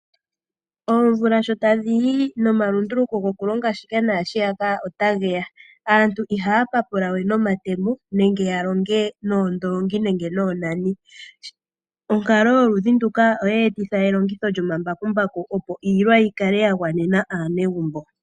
Oomvula sho tadhi yi nomalunduluko gokulonga shika naashiyaka ota ge ya aantu ihaya papula we nomatemo nenge ya longe noondoongi nenge noonani onkalo yoludhi nduka oye etitha elongitho lyomambakumbaku opo iilwa yi kale ya gwanena aanegumbo.